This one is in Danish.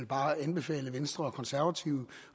bare anbefale venstre og konservative